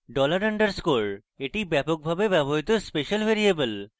$_ dollar underscore : এটি ব্যাপকভাবে ব্যবহৃত special ভ্যারিয়েবল